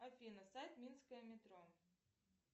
афина сайт минское метро